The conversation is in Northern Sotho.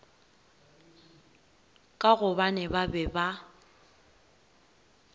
ka gobane ba be ba